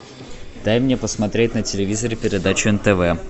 дай мне посмотреть на телевизоре передачу нтв